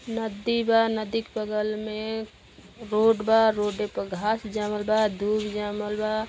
नदी बा। नदी क बगल में रोड बा। रोडे प घास जामल बा। दूबि जामल बा।